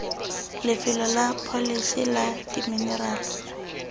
lefelo la pholese la diminerala